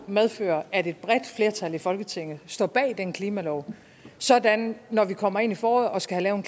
medføre at et bredt flertal i folketinget står bag den klimalov sådan at når vi kommer ind i foråret og skal have